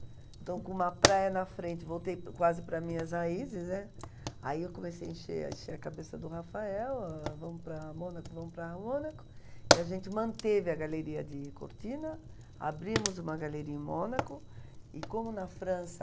Então, com uma praia na frente, voltei quase para as minhas raízes, né? Aí eu comecei a encher a encher a cabeça do Rafael, ãh, vamos para Mônaco, vamos para Mônaco, e a gente manteve a galeria de Cortina, abrimos uma galeria em Mônaco e, como na França